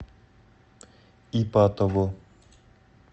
ипатово